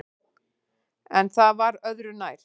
En það var öðru nær!